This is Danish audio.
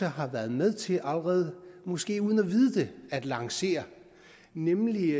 har været med til måske uden at vide det at lancere nemlig